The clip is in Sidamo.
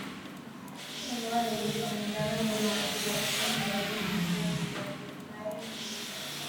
knuni maa leellishanno ? danano maati ? badheenni noori hiitto kuulaati ? mayi horo afirino ? kowiicho duuchu danihu daddalu nooti leeltanni nooe mayi dadalooti